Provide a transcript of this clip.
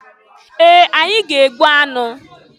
Ee! Anyị ga-egbu anụ.